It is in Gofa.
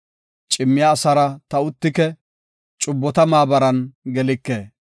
Cimmiya asaara ta uttike; cubbota maabaran gelike.